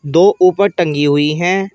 दो ऊपर टंगी हुई हैं।